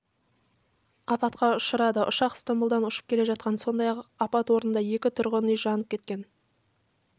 апатқа ұшырады ұшақ стамбұлдан ұшып келе жатқан сондай-ақ апат орнында екі тұрғын үй жанып кеткен